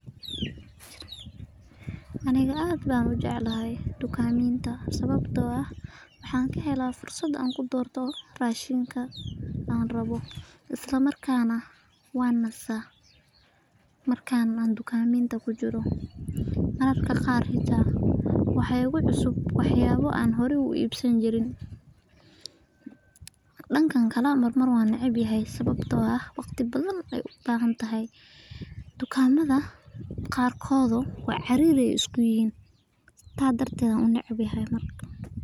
Aniga aad baan ujeclahay sababto ah waxaan helaa fursada, waxaa igu cusub wax yaabo aan iibsan jirin, tukaamo qaar kood cariiri ayeey isku yihiin taas darteed ayaan unecbahay.